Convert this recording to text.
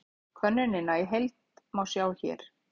Könnunina í heild má sjá hér